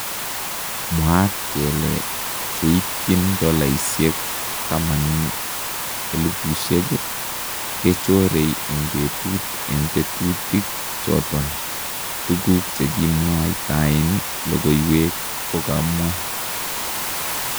Mwaat kele cheityiin dolaisyeek 10,000 kechoree en betut en tetuutik choton, tukuk chekimwaytaen lokooywek kokamwaa.